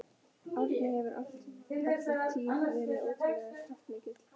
Þetta var ungur maður, dökkur á hörund með svolítið yfirvaraskegg.